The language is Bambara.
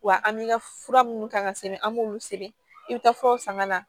Wa an bi ka fura minnu kan ka sɛbɛn an b'olu sɛbɛn i be taa furaw san ka na